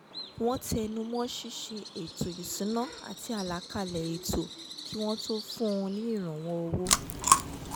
wọ́n tẹnu mọ́ ṣíṣe ètò ìṣúná àti àlàkalẹ̀ ètò kí wọ́n tó fún un ní ìrànwọ́ owó